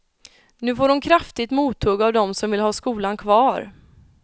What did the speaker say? Nu får hon kraftigt mothugg av de som vill ha skolan kvar.